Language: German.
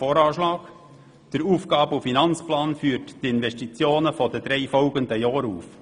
Der Aufgaben-/Finanzplan führt die Investitionen der drei folgenden Jahre auf.